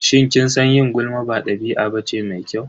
Shin kin san yin gulma ba ɗabi'a bace mai kyau?